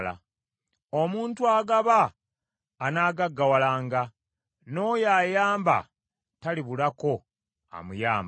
Omuntu agaba anagaggawalanga, n’oyo ayamba talibulako amuyamba.